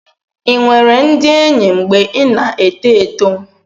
ị nwere ndị enyi mgbe ị na-eto eto?